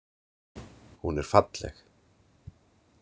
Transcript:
Hún er falleg.